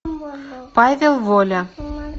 павел воля